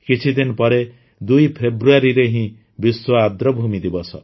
କିଛି ଦିନ ପରେ ୨ ଫେବୃଆରୀରେ ହିଁ ବିଶ୍ୱ ଆର୍ଦ୍ରଭୂମି ଦିବସ